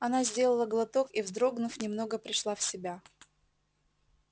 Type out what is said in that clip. она сделала глоток и вздрогнув немного пришла в себя